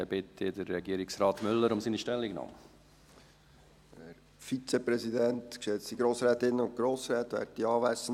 Dann bitte ich Regierungsrat Müller um seine Stellungnahme.